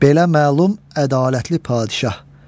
Belə məlum ədalətli padişah.